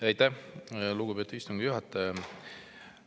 Aitäh, lugupeetud istungi juhataja!